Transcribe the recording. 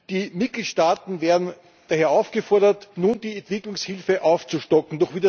Die Mitgliedstaaten werden daher aufgefordert, nun die Entwicklungshilfe aufzustocken.